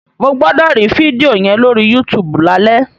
Mo gbọ́dọ̀ rí fídíò yẹn lórí YouTube lálẹ́!